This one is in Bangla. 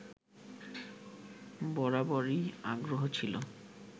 বরাবরই আগ্রহ ছিল